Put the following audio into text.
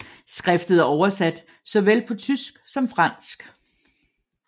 Skriftet er oversat så vel på tysk som fransk